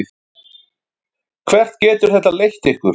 Hvert getur þetta leitt ykkur?